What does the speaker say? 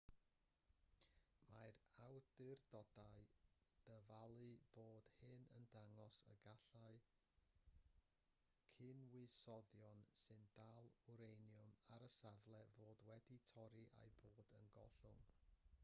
mae'r awdurdodau'n dyfalu bod hyn yn dangos y gallai cynwysyddion sy'n dal wraniwm ar y safle fod wedi torri a'u bod yn gollwng